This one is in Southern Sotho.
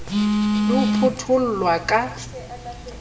le ho phutho llwa ka